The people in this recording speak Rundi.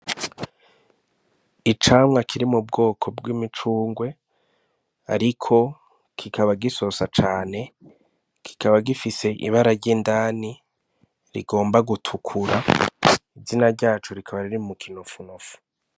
Icamwa kiri mu bwoko bw'imicungwe, ariko kikaba gisosa cane kikaba gifise ibara ry'indani rigomba gutukura izina ryacu rikaba riri mu kinofunofu.